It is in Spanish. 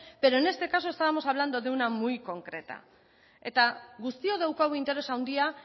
pero en este caso estábamos hablando de una muy concreta eta guztiok daukagu interes handia